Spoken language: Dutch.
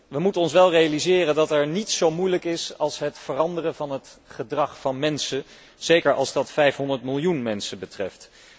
We moeten ons wel realiseren dat niets zo moeilijk is als het veranderen van het gedrag van mensen, zeker als dat 500 miljoen mensen betreft.